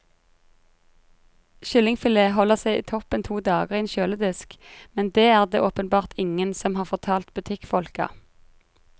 Kyllingfilet holder seg toppen to dager i en kjøledisk, men det er det åpenbart ingen som har fortalt butikkfolka.